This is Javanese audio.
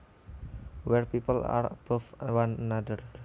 where people are above one another